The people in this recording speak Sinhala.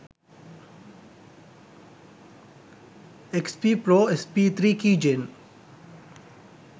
xp pro sp3 keygen